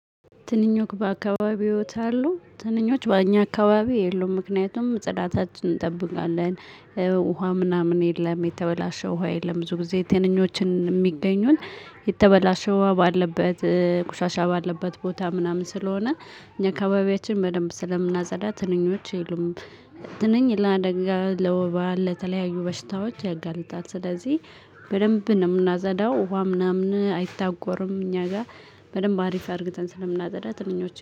ትንኞች በአካባቢዎት አሉ? ትንኞች በእኛ አካባቢ የሉም ምክንያቱም ጽዳታችንን እንጠብቃለን። ውሃ ምናምን የለም የተበላሸ ውሃ የለም። ብዙ ጊዜ ትንኞችን የሚገኙት የተበላሸው ውሃ ባለበት ቁሻሻ ባለበት ቦታ ምናምን ስለሆነ። እኛ አካባቢያችን በደንብ ስለምናጸዳ ትንኞች የሉም። ትንኝ ለአደጋ ለወባ ለተለያዩ በሽታዎች ያጋልጣል። ስለዚህ በደንብ ነው የምናፀዳው ውሃ ምናምን አይታጎርም። እኛ ጋር በደንብ አሪፍ አርግተን ስለምናፀዳ ትንኞች